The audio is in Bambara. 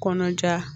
Kɔnɔja